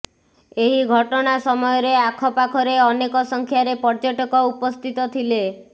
ଏହି ଘଟଣା ସମୟରେ ଆଖପାଖରେ ଅନେକ ସଂଖ୍ୟାରେ ପର୍ଯ୍ୟଟକ ଉପସ୍ଥିତ ଥିଲେ